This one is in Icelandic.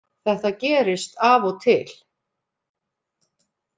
Þetta gerist af og til